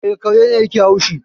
E, kare ne yake haushi